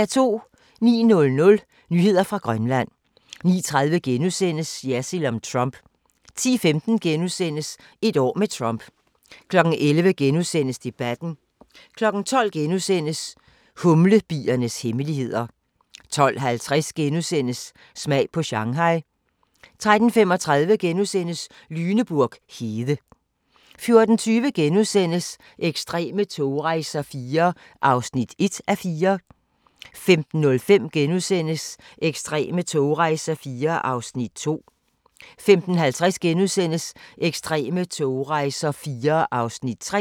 09:00: Nyheder fra Grønland 09:30: Jersild om Trump * 10:15: Et år med Trump * 11:00: Debatten * 12:00: Humlebiernes hemmeligheder * 12:50: Smag på Shanghai * 13:35: Lüneburg hede * 14:20: Ekstreme togrejser IV (1:4)* 15:05: Ekstreme togrejser IV (2:4)* 15:50: Ekstreme togrejser IV (3:4)*